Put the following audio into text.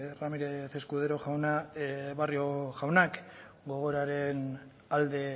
ramírez escudero jauna barrio jaunak gogoraren alde